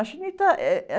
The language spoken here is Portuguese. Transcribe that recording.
A, eh, eh